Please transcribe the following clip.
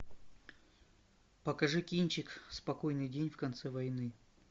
покажи кинчик спокойный день в конце войны